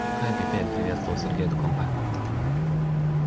хай пипель приветствовал сергей эту компанию